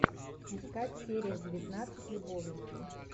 искать серия девятнадцать любовники